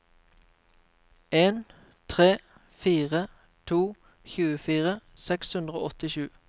en tre fire to tjuefire seks hundre og åttisju